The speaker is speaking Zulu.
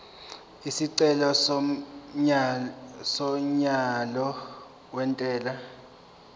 isicelo somyalo wentela